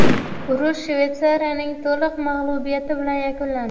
Urush Shvetsiyaning to‘liq mag‘lubiyati bilan yakunlandi.